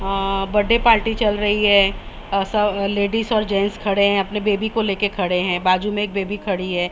Birthday party चल रही है लेडिस और जेंट्स खड़े हैं अपने बेबी को लेके खड़े हैं बाजू में एक बेबी खड़ी है।